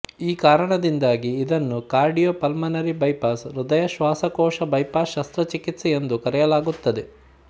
ಈ ಕಾರಣದಿಂದಾಗಿ ಇದನ್ನು ಕಾರ್ಡಿಯೋ ಪಲ್ಮನರಿ ಬೈಪಾಸ್ ಹೃದಯಶ್ವಾಸಕೋಶ ಬೈಪಾಸ್ ಶಸ್ತ್ರಚಿಕಿತ್ಸೆ ಎಂದು ಕರೆಯಲಾಗುತ್ತದೆ